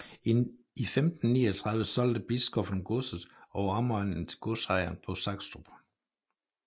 I 1539 solgte biskoppen godset og omegnen til godsejeren på Sakstrup